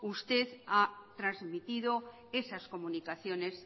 usted ha transmitido esas comunicaciones